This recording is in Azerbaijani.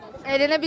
Əylənə bildin?